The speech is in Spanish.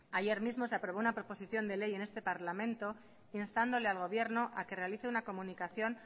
ayer mismo se aprobó una proposición de ley en este parlamento instándole al gobierno a que realice una comunicación